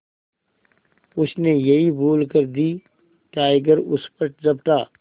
उसने यही भूल कर दी टाइगर उस पर झपटा